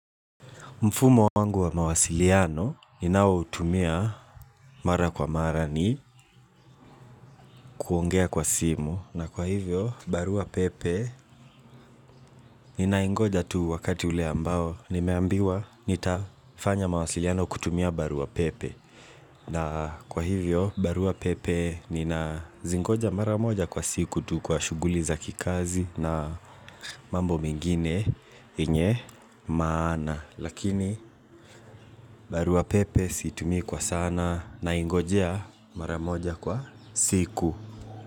Mfumo wangu wa mawasiliano ninao utumia mara kwa mara ni kuongea kwa simu na kwa hivyo barua pepe ninaingoja tu wakati ule ambao nimeambiwa nitafanya mawasiliano kutumia barua pepe na kwa hivyo barua pepe ninazingoja mara moja kwa siku tu kwa shuguli za kikazi na mambo mengine yenye maana Lakini barua pepe siitumii kwa sana naingojea maramoja kwa siku.